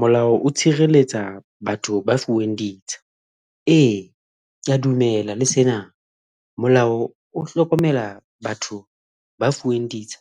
Molao o tshireletsa batho ba fuweng ditsha, eya ke a dumela le sena molao o hlokomela batho ba fuweng ditsha